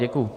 Děkuji.